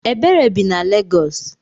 Ebere bi na Legos.